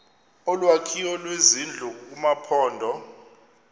olwakhiwo lwezindlu kumaphondo